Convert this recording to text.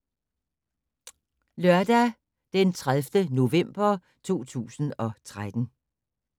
Lørdag d. 30. november 2013